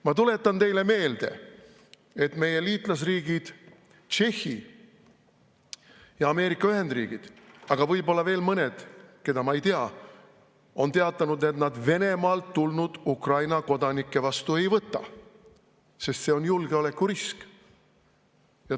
Ma tuletan teile meelde, et meie liitlasriigid Tšehhi ja Ameerika Ühendriigid, aga võib-olla veel mõned, keda ma ei tea, on teatanud, et nad Venemaalt tulnud Ukraina kodanikke vastu ei võta, sest see on julgeolekurisk.